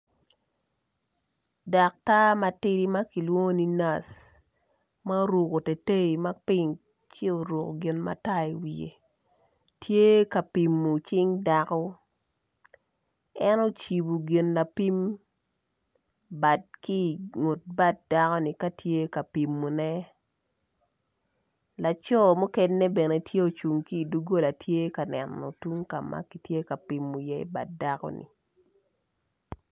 Daktar matidi ma kilwongo ni nac ma oruku tei tei ma ping ci oruku gin matar i wiye tye ka pimo cing daku en ocibu gin lapim bad ki i ngut bad dakoni ka tye ka pimone laco mukene bene tye ocung ki iduggola bene tye ka neno tung ka ma kitye ka pimu iye bad dakoni